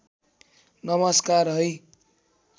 नमस्कार है